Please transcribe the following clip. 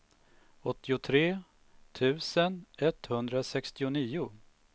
åttiotre tusen etthundrasextionio